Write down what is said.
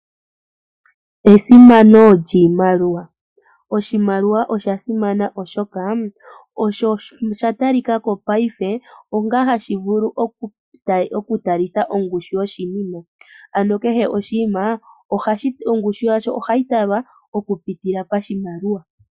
Esimano lyiimaliwa! Oshimaliwa osha simana oshoka osho oshatalikako paife ongaa hashi vulu oku talitha ongushi yoshimima. Ano kehe oshinima ongushu yasho ohayi talwa oku pitila pashaliwa.